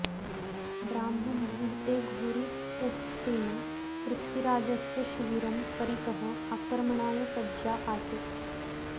ब्राह्ममुहूर्ते घोरी इत्यस्य सेना पृथ्वीराजस्य शिविरं परितः आक्रमणाय सज्जा आसीत्